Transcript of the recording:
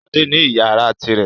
Ṣadé ní ìyàrá tirẹ̀.